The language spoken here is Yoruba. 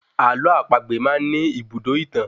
Àlọ́ àpagbè máá ń ní ibùdó ìtàn